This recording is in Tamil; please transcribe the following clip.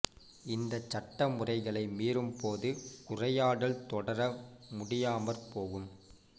இந்த சட்ட முறைகளை மீறும் போது உரையாடல் தொடர முடியாமற் போகும்